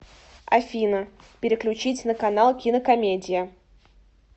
афина переключить на канал кинокомедия